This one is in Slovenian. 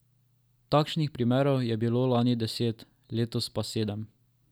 Takšnih primerov je bilo lani deset, letos pa sedem.